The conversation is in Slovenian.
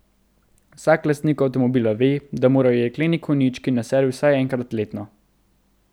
Vsak lastnik avtomobila ve, da morajo jekleni konjički na servis vsaj enkrat letno.